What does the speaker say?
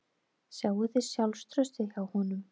Sjáið þið sjálfstraustið hjá honum.